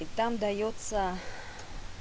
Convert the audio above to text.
и там даётся